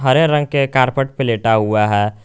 हरे रंग के कारपेट पे लेटा हुआ है।